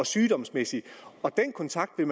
sygdomsmæssigt og den kontakt vil